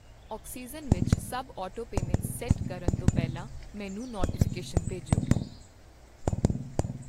oxygen ਵਿੱਚ ਸਭ autopayments set ਕਰਨ ਤੋਂ ਪਹਿਲਾਂ ਮੈਨੂੰ ਨੋਟੀਫਿਕੇਸ਼ਨ ਭੇਜੋਂ